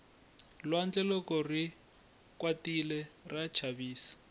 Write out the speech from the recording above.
lwandle loko ri kwatile ra chavisa